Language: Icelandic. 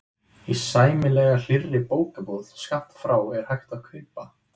Í sæmilega hlýrri bókabúð skammt frá er hægt að kaupa